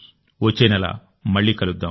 వచ్చే నెల మళ్ళీ కలుద్దాం